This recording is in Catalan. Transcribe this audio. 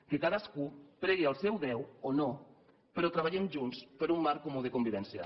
que cadascú pregui al seu déu o no però treballem junts per un marc comú de convivència